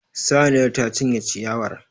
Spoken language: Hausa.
Saniyar ta cinye ciyawar.